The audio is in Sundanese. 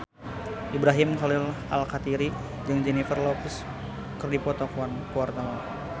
Ibrahim Khalil Alkatiri jeung Jennifer Lopez keur dipoto ku wartawan